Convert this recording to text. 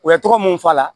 U ya tɔgɔ mun fɔ a la